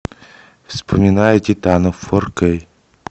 вспоминая титанов фор кей